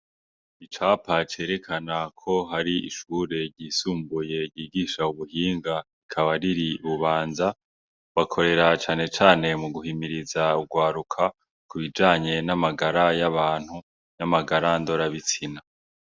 Icapa cerekana ko hari ishure ryisumbuye ryigisha ubuhinga rika riri Ibubanza hakorera cane cane mu guhimiriza urwaruka kubijanye n'amagara y'abantu n'amagara ndora bitsina.